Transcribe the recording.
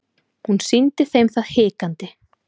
Hún sýndi þeim það hikandi.